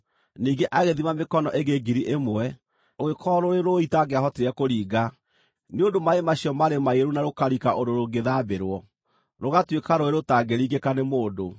Ningĩ agĩthima mĩkono ĩngĩ ngiri ĩmwe, rũgĩkorwo rũrĩ rũũĩ itangĩahotire kũringa, nĩ ũndũ maaĩ macio maarĩ maiyũru na rũkarika ũndũ rũngĩthambĩrwo, rũgatuĩka rũũĩ rũtangĩringĩka nĩ mũndũ.